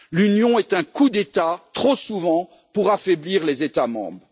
L'Union est un coup d'État, trop souvent, pour affaiblir les États membres.